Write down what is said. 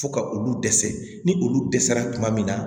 Fo ka olu dɛsɛ ni olu dɛsɛra tuma min na